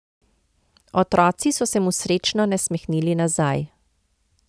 Otroci so se mu srečno nasmehnili nazaj.